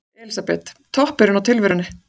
Elísabet: Toppurinn á tilverunni?